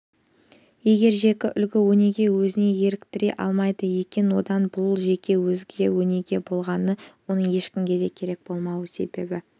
егер жеке үлгі-өнеге өзіне еліктіре алмайды екен онда бұл жеке үлгі-өнеге болмағаны оның ешкімге де керек болмау себебі